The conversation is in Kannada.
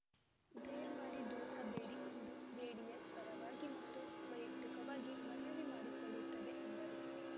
ದಯಮಾಡಿ ದುಡುಕಬೇಡಿ ಎಂದು ಜೆಡಿಎಸ್ ಪರವಾಗಿ ಮತ್ತು ವೈಯಕ್ತಿಕವಾಗಿ ಮನವಿ ಮಾಡಿಕೊಳ್ಳುತ್ತೇ ಎಂದರು